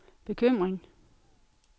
bekymring